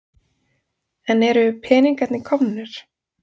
En eru peningarnir komnir?